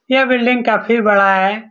यह बिल्डिंग काफी बड़ा है।